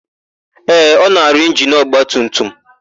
Ee, ọ na-arụ injinu ọgbatumtum.